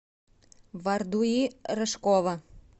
бардуи рыжкова